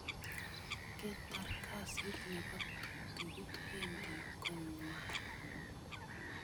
Katar kasit nebo ptuktukit wedi konywan.